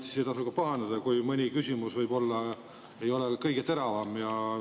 Siis ei tasu ka pahandada, kui mõni küsimus võib-olla ei ole kõige teravam.